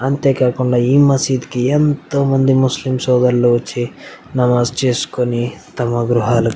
అంతేకాకుండా ఏ మసీదు కి ఎంతోమంది ముస్లిం సోదరులు వచ్చి నమాజ్ చేసుకొని తమ గృహాలకి --